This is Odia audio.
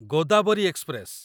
ଗୋଦାବରି ଏକ୍ସପ୍ରେସ